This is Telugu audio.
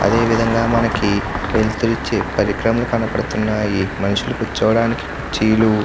అదే విధంగా మనకి వెలుతురూ ఇచ్చే పరిక్రమలు కనబడుతున్నాయి. మనుషులు కూర్చోవడానికి కుర్చీలు --